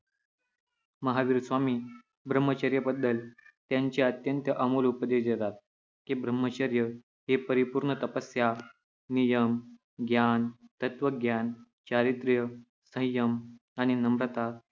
महावीर स्वामी ब्रह्मचर्य बद्दल त्यांचे अत्यंत अमूल्य उपदेश देतात की ब्रह्मचर्य हे परिपूर्ण तपस्या, नियम, ज्ञान, तत्त्वज्ञान, चारित्र्य, संयम आणि नम्रता